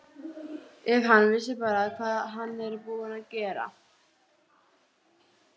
Það er vel heppnaðri helgi að þakka.